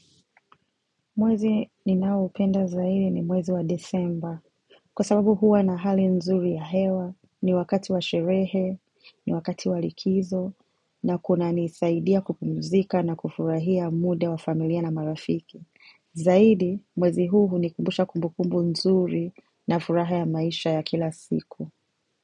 Mwezi ninaopenda zaidi ni mwezi wa Desemba. Kwa sababu huwa na hali nzuri ya hewa, ni wakati wa sherehe, ni wakati wa likizo, na kuna nisaidia kupumzika na kufurahia muda wa familia na marafiki. Zaidi, mwezi huu hunikumbusha kumbukumbu nzuri na furaha ya maisha ya kila siku.